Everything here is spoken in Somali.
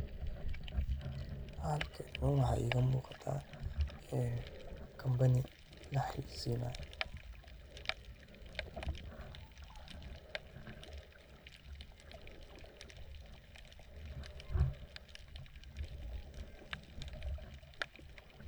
Halkani waxa iga muqaata Company la hayeysinayo.